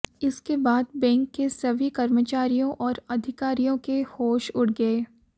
इसके बाद बैंक के सभी कर्मचारियों और अधिकारियों के होश उड़ गए